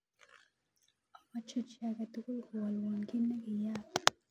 Omoche chi agetugul kowolwon kit nekiyaak